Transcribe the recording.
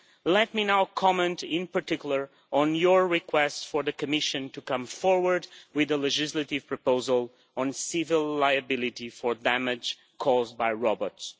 Let me now comment in particular on your request for the Commission to come forward with a legislative proposal on civil liability for damage caused by robots.